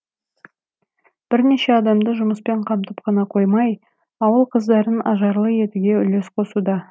бірнеше адамды жұмыспен қамтып қана қоймай ауыл қыздарын ажарлы етуге үлес қосуда